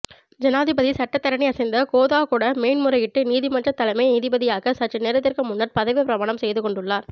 ஜனாதிபதி சட்டத்தரணி யசந்த கோதாகொட மேன்முறையீட்டு நீதிமன்ற தலைமை நீதிபதியாக சற்று நேரத்திற்கு முன்னர் பதவிப் பிரமாணம் செய்துகொண்டுள்ளார்